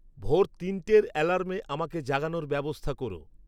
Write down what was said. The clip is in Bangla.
ভোর তিনটের অ্যালার্মে আমাকে জাগানোর ব্যবস্থা করো